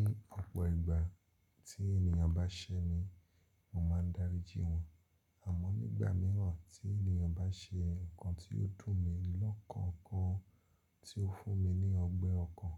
Ní ọ̀pọ̀ ìgbà tí ènìyàn bá ṣẹ́ mi, mo máa ń daríji wọn. Àmọ́ nígbà míràn tí ènìyàn bá ṣe nǹkan tí ó dùn mi, lọ́kàn gan tí ó fún mi ní ọgbẹ́ ọkàn,